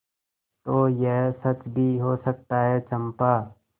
तो यह सच भी हो सकता है चंपा